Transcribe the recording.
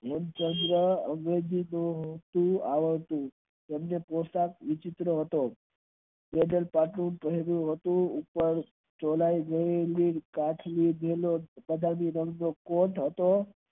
તેમનો પોશાક વિચિત્ર હતો ઉપર ચોળાય જેવી કંઠ લીધેલો હતો